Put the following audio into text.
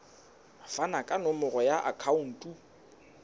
fane ka nomoro ya akhauntu